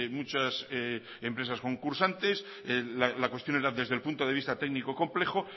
muchas empresas concursantes la cuestión era desde el punto de vista técnico complejo